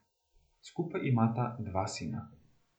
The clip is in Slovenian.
Skupaj imata dva sina.